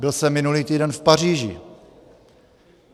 Byl jsem minulý týden v Paříži.